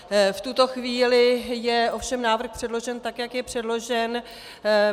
V tuto chvíli je ovšem návrh předložen tak, jak je předložen.